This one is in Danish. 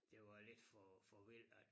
Det var lidt for for vildt at